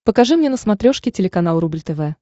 покажи мне на смотрешке телеканал рубль тв